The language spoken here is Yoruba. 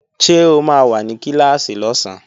Ṣé o máa wà ní Kíláàsì lọ́sán?